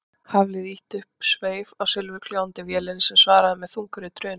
Hafliði ýtti upp sveif á silfurgljáandi vélinni sem svaraði með þungri drunu.